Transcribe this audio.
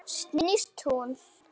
Snýst hún?